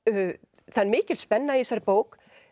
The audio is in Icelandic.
það er mikil spenna í þessari bók